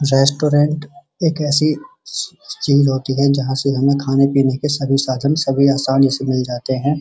Restaurant एक ऐसी चीज होती है जहां से हमें खाने-पीने के सारे साधन सभी आसानी से मिल जाते हैं।